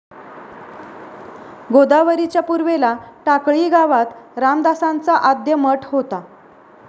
गोदावरीच्या पूर्वेला टाकळी गावात रामदासांचा आद्य मठ होता.